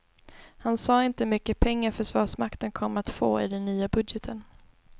Han sade inte hur mycket pengar försvarsmakten kommer att få i den nya budgeten.